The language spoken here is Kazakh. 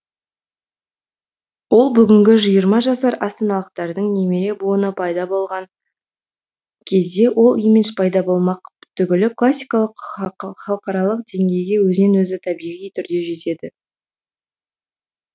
ол бүгінгі жиырма жасар астаналықтардың немере буыны пайда болған кезде ол имидж пайда болмақ түгілі классикалық халықаралық деңгейге өзінен өзі табиғи түрде жетеді